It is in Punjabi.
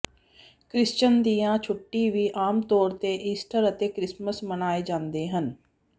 ਕ੍ਰਿਸਚਨ ਦੀਆਂ ਛੁੱਟੀ ਵੀ ਆਮ ਤੌਰ ਤੇ ਈਸਟਰ ਅਤੇ ਕ੍ਰਿਸਮਸ ਮਨਾਏ ਜਾਂਦੇ ਹਨ